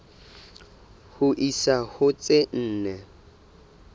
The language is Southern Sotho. ho isa ho tse nne